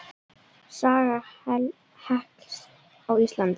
Saga hekls á Íslandi